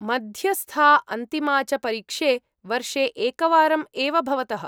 मध्यस्था, अन्तिमा च परीक्षे वर्षे एकवारम् एव भवतः।